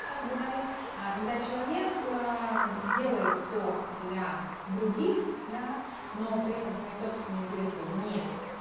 сейчас говорим а когда человек делает все для других да но при этом свои собственные интересы не